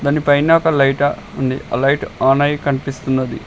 దాని పైన ఒక లైట ఉంది అది లైటు ఆన్ అయ్యి కనిపిస్తున్నది.